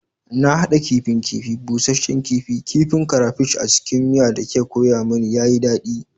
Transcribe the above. Na hada kifin kifi, busasshen kifi, kifin crayfish a cikin miya da kika koya mani, ya yi daɗi